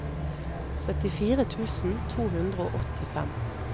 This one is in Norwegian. syttifire tusen to hundre og åttifem